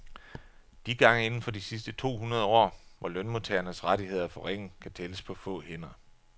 De gange inden for de sidste to hundrede år, hvor lønmodtagernes rettigheder er forringet, kan tælles på få hænder.